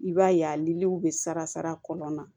I b'a ye a niliw bɛ sara kɔnɔna na